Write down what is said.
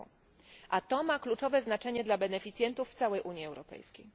r. A to ma kluczowe znaczenie dla beneficjentów w całej Unii Europejskiej.